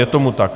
Je tomu tak.